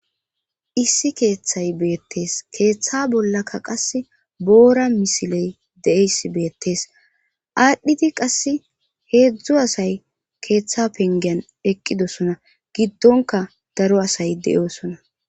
Issi keeththay beettees keeththa bollaka qas boora misiley deeys beettees aadhdhiti qass heedzdzu asay keeththa pengiyan eqqidosona giddonka daro asay de7osona